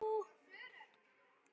Blárri en blá.